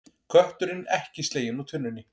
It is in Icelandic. Kötturinn ekki sleginn úr tunnunni